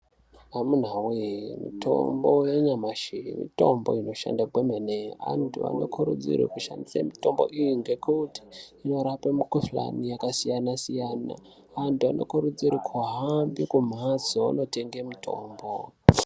Amunawe mutombo yanyamashi mitombo inoshanda kwemene. Antu anokurudzirwe kushandisa mitombo iyi ngekuti inorape mikhuhlane yakasiyana siyana. Antu anokurudzirwe kuhambe kumhatso ondotenga mitombo.